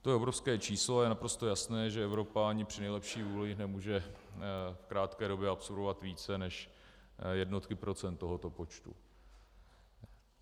To je obrovské číslo a je naprosto jasné, že Evropa ani při nejlepší vůli nemůže v krátké době absorbovat více než jednotky procent tohoto počtu.